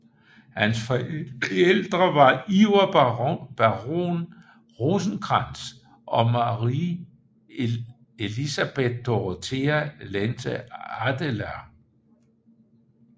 Hans forældre var Iver baron Rosenkrantz og Marie Elisabeth Dorothea Lente Adeler